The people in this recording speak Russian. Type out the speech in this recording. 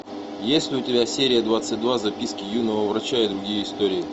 есть ли у тебя серия двадцать два записки юного врача и другие истории